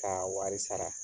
K'a wari sara